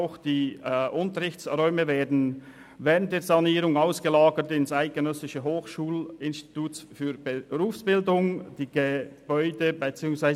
Auch die Unterrichtsräume werden während der Sanierung ins Eidgenössische Hochschulinstitut für Berufsbildung (EHB) ausgelagert.